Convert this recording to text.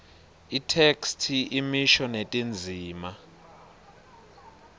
itheksthi imisho netindzima